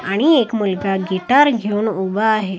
आणि एक मुलगा गिटार घेऊन उभा आहे.